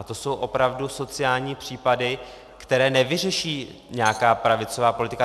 A to jsou opravdu sociální případy, které nevyřeší nějaká pravicová politika.